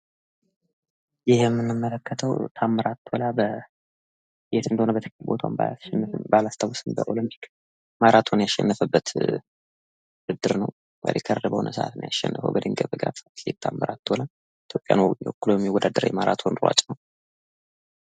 ይህ የምንመለከትው ታምራት ቶላ የት እንደሆነ ቦታውን በትክክል ባላስታውስም በኦሎምፒክ ማራቶን ያሸነፈበት ውድድር ነው ሪከርድ በሆነ ሰዓት ነው ያሸነፈው በድንገት ታምራት ቶላ ኢትዮጵያን ወክሎ የሚወዳደር የማራቶን ሯጭ ነው ።